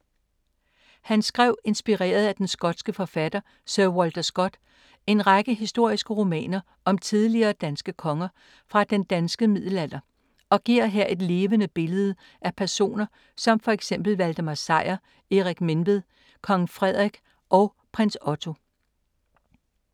Han skrev, inspireret af den skotske forfatter Sir Walter Scott, en række historiske romaner om tidligere danske konger fra den danske middelalder og giver her et levende billede af personer som for eksempel Valdemar Sejr, Erik Menved, Kong Frederik og Prins Otto.